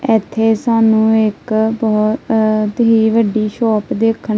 ਏੱਥੇ ਸਾਨੂੰ ਇੱਕ ਬਹੁਤ ਹੀ ਵੱਡੀ ਸ਼ੌਪ ਦੇਖਨ--